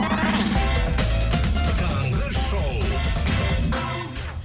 таңғы шоу